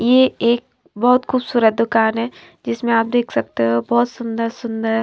ये एक बहोत खूबसूरत दुकान है जिसमें आप देख सकते हो बहोत सुंदर सुंदर--